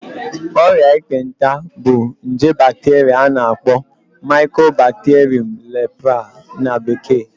Ọrịa ekpenta bụ nje bacteria a na-akpọ Mycobacterium leprae na bekee